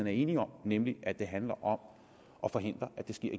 er enige om nemlig at det handler om at forhindre at det sker